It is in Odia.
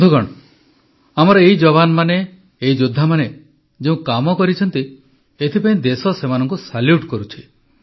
ବନ୍ଧୁଗଣ ଆମର ଏହି ଯବାନମାନେ ଏଇ ଯୋଦ୍ଧାମାନେ ଯେଉଁ କାମ କରିଛନ୍ତି ଏଥିପାଇଁ ଦେଶ ସେମାନଙ୍କୁ ସାଲ୍ୟୁଟ୍ କରୁଛି